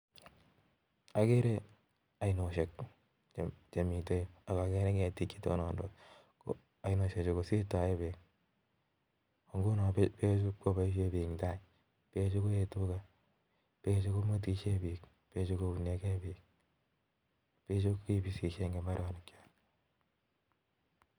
Ageere ainosiek chemiten yuu, ak ageere keetik chetonondos, ainosiek Chu koboishien biik kotoche beek, ak konyon koyee tugaa ak bechu koboishien biik, bechu kibisisien en mbaronok.